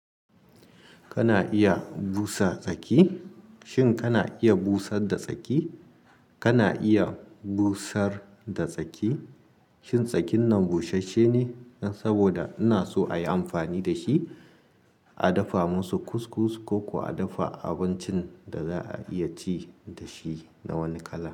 Kana iya busa tsaki? Shin kana iya busar da tsaki? Kana iya busar da tsaki? Shin tsakin nan busasshe ne saboda ina so a yi amfani da shi, a dafa musu kus-kus ko kuma a dafa abincin da za a iya ci da shi na wani kala.